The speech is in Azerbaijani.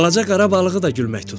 Balaca qara balığı da gülmək tutdu.